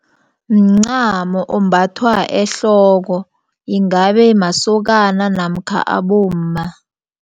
Mncamo ombathwa ehloko yingabe masokana namkha abomma.